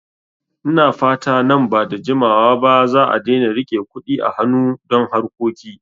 Ina fata nan ba da jimawa ba za'a daina rike Kuɗi a hanu don harkoki